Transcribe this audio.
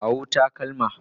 Kawo takalma.